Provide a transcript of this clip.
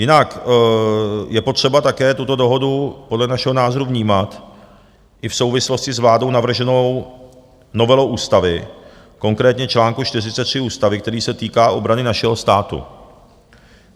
Jinak je potřeba také tuto dohodu podle našeho názoru vnímat i v souvislosti s vládou navrženou novelou ústavy, konkrétně čl. 43 ústavy, který se týká obrany našeho státu.